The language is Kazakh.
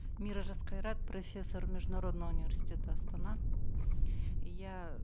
мира жасқайрат профессор международного университета астана я